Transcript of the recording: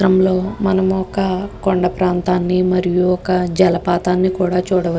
ఈ చిత్రం లో మనము ఒక కొండా ప్రాంతాని మరియు ఒక జల ప్రాంతాన్నికూడా చూడ వ--